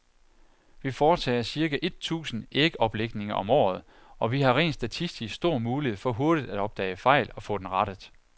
Vi foretager cirka et tusind ægoplægninger om året, og vi har rent statistisk stor mulighed for hurtigt at opdage fejl og få den rettet.